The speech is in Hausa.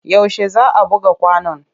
Yaushe za a buga kwanon?